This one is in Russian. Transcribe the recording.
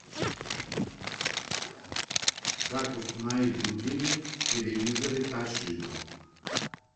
как установить будильник в телевизоре тошиба